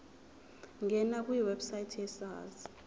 ngena kwiwebsite yesars